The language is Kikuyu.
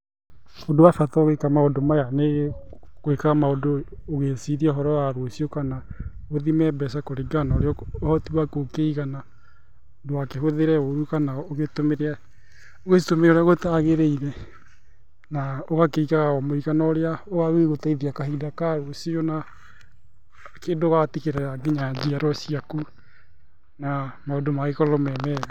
Ũndũ wa bata ũgĩka maũndũ maya nĩ gwĩka maũndũ ũgĩciria ũhoro wa rũciũ kana, ũthime mbeca kũringana na ũrĩa ũhoti waku ũkĩigana. Ndũgakĩhuthĩre ũũru kana ũtũmĩre ũgĩcitũmĩre ũrĩa gũtagirĩire, na ũgakĩigaga o mũigana ũrĩa ũgagĩgũteithia kahinda ka rũciũ na kĩndũ ũgatigĩra nginya njiarwa ciaku na maũndũ magagĩkorwo me mega .